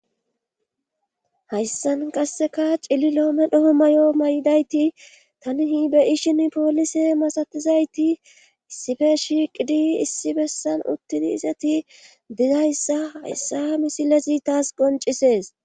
hayssan qasseka cililo medho may'o may'dayti tani be'ishshin poolise masatizayti issife shiiqidi issi bessan uttini izati dizayssa hayssa misilezi taas goncisees